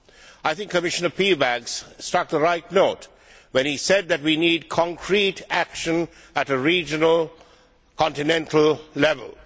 I think Commissioner Piebalgs struck the right note when he said that we need concrete action at a regional, continental level.